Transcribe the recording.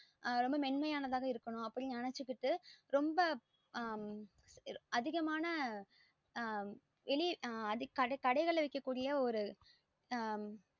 ரொம்ப மென்மையானத இருக்கணும் ன்னு நெனச்சு கிட்டு அஹ் ரொம்ப அதிகமான ஆஹ் வெளிய கடைகள்ல விக்கக்கூடிய ஒரு ஆஹ்